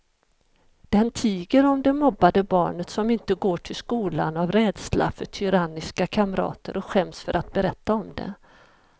Den tiger om det mobbade barnet som inte går till skolan av rädsla för tyranniska kamrater och skäms för att berätta om det.